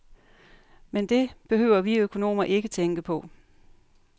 Men det behøver vi økonomer ikke tænke på.